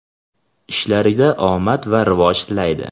ishlarida omad va rivoj tilaydi!.